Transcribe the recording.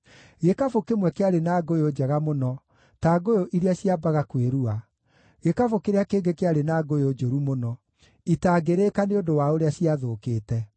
Gĩkabũ kĩmwe kĩarĩ na ngũyũ njega mũno, ta ngũyũ iria ciambaga kwĩrua; gĩkabũ kĩrĩa kĩngĩ kĩarĩ na ngũyũ njũru mũno, itangĩrĩĩka nĩ ũndũ wa ũrĩa ciathũkĩte.